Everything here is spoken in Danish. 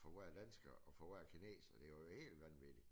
For hver dansker og for hver kineser det var jo helt vanvittigt